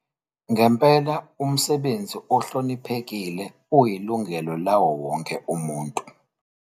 Ngempela, umsebenzi ohloniphekile uyilungelo lawowonke umuntu.